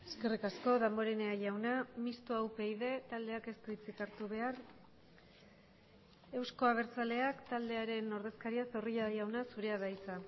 eskerrik asko damborenea jauna mistoa upyd taldeak ez du hitzik hartu behar euzko abertzaleak taldearen ordezkaria zorrilla jauna zurea da hitza